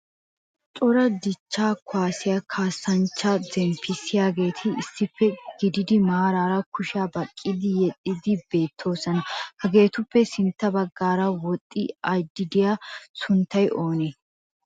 Cora dichcha kuwassiya kaassanchcha zemppissiyaageeti issippe eqqidi maraara kushiya baqqidi yexxiidi beettoosona. Hageetuppe sintta baggaara woxxi aadhdhi uttidaaga sunttay oonee?